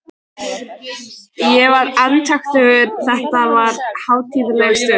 Ég var andaktugur, þetta var hátíðleg stund.